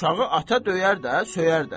Uşağı ata döyər də, söyər də.